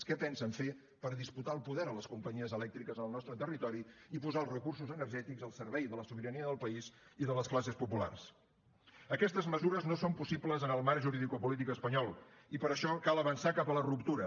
què pensen fer per disputar el poder a les companyies elèctriques en el nostre territori i posar els recursos energètics al servei de la sobirania del país i de les classes populars aquestes mesures no són possibles en el marc juridicopolític espanyol i per això cal avançar cap a la ruptura